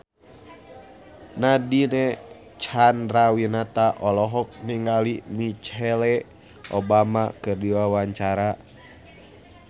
Nadine Chandrawinata olohok ningali Michelle Obama keur diwawancara